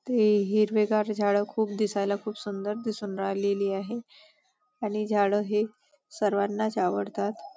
ते हिरवेगार झाडं खूप दिसयला खूप सुंदर दिसून राहिलेली आहे आणि झाडं हे सर्वानाच आवडतात.